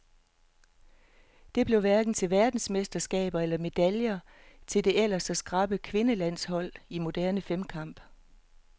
Det blev hverken til verdensmesterskaber eller medaljer til det ellers så skrappe kvindelandshold i moderne femkamp.